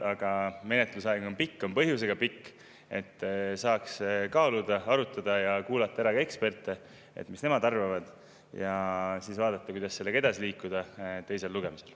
Aga menetlusaeg on pikk, on põhjusega pikk, et saaks kaaluda, arutada ja kuulata ka eksperte, seda, mis nemad arvavad, ja siis vaadata, kuidas sellega edasi liikuda teisel lugemisel.